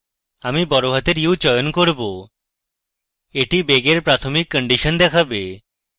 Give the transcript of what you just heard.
আমি বড়হাতের u চয়ন করব এটি বেগের প্রাথমিক কন্ডিশন দেখাবে